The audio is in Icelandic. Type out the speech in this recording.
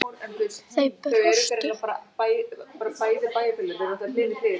Þau brostu.